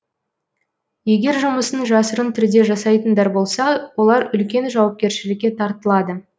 егер жұмысын жасырын түрде жасайтындар болса олар үлкен жауапкершілікке тартылады